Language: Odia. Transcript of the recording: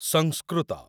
ସଂସ୍କୃତ